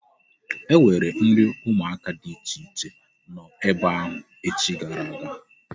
E nwere nri ụmụaka dị iche iche nọ ebe ahụ echi gara aga.